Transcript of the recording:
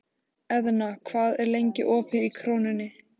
Eðna, hvað er lengi opið í Krónunni?